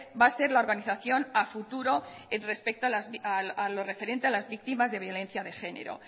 va a ser la organización a futuro respecto a lo referente a las víctimas de violencia de género